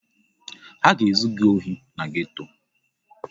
Ha ga-ezu gị ohi na geto.